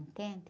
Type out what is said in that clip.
Entende?